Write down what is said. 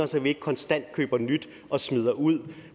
så vi ikke konstant køber nyt og smider ud